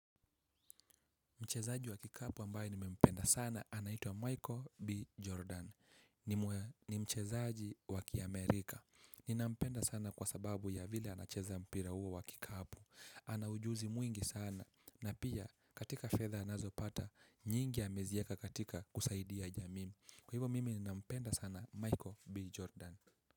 Mchezaji wa kikapu ambaye nimempenda sana. Anaitua Michael B. Jordan. Ni mchezaji wa kiamerika. Ninampenda sana kwa sababu ya vile anacheza mpira huwo wa kikapu. Ana ujuzi mwingi sana. Na pia katika fedha anazo pata, nyingi amezieka katika kusaidia jamii. Kwa hivyo mimi ninampenda sana Michael B. Jordan.